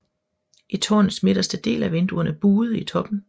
I tårnets midterste del er vinduerne buede i toppen